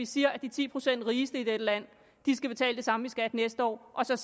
sige at de ti procent rigeste i dette land skal betale det samme i skat næste år og så